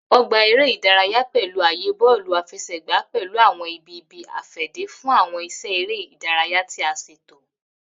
Ogba ere idaraya pẹlu aaye bọọlu afẹsẹgba pẹlu awọn ibi ibi-afẹde fun awọn iṣẹ ere idaraya ti a ṣeto.